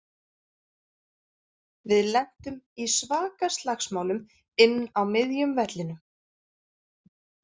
Við lentum í svaka slagsmálum inn á miðjum vellinum.